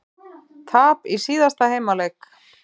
Tap í síðasta heimaleik